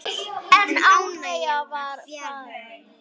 En ánægjan var fjarri.